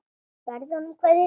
Berðu honum kveðju mína.